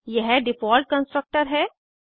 यह default constructor है